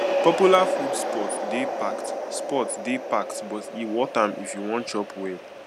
popular food spots dey packed spots dey packed but e worth am if you wan chop well